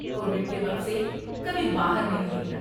Covid کے وقت سے کبھی باہر نہیں نکلا۔